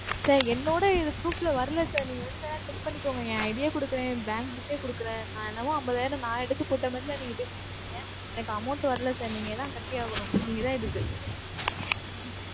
sir என்னோட இது proof ல வரலை sir. நீங்க வேணா வந்து check பண்ணிக்கோங்க. என் ID ஏ கொடுக்கிறேன், என் bank book ஏ கொடுக்கிறேன். நான் என்னமோ ஐம்பதாயிரம் நான் எடுத்துப் போட்ட மாதிரிதான் நீங்கப் பேசிட்டு இருக்கீங்க. எனக்கு amount வரலை sir நீங்கதான் கட்டியாகணும். நீங்கதான் இதுக்கு